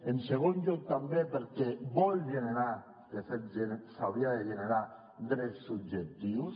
en segon lloc també perquè vol generar de fet s’haurien de generar drets subjectius